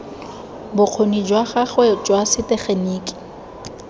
bokgoni jwa gagwe jwa setegeniki